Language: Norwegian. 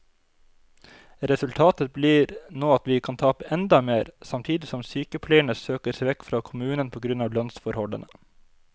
Resultatet blir nå at vi kan tape enda mer, samtidig som sykepleierne søker seg vekk fra kommunen på grunn av lønnsforholdene.